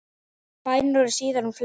Bændur eru síðan mun fleiri.